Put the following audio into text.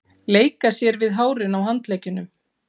Leika sér við hárin á handleggjunum.